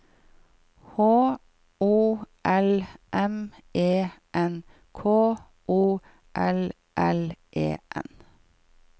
H O L M E N K O L L E N